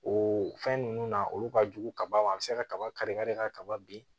O fɛn ninnu na olu ka jugu kaba ma a bɛ se ka kaba kari kari kaba bin